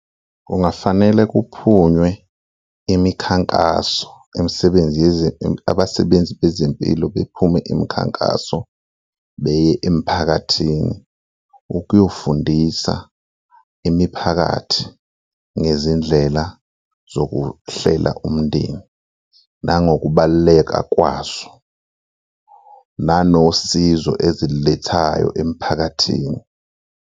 Kungafanele kuphunywe imikhankaso, imisebenzi abasebenzi bezempilo bephume imikhankaso beye emphakathini, ukuyobafundisa imiphakathi ngezindlela zokuhlela umndeni nangokubaluleka kwazo nanosizo ezililethayo emphakathini.